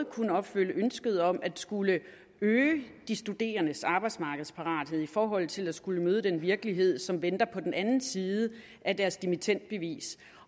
kunne opfylde ønsket om at skulle øge de studerendes arbejdsmarkedsparathed i forhold til at skulle møde den virkelighed som venter på den anden side af deres dimittendbevis